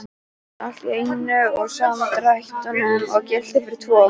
Allt í einum og sama drættinum og gilti fyrir tvo!